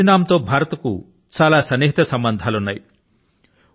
Suriname తో భారతదేశానికి చాలా సన్నిహిత సంబధాలు ఉన్నాయి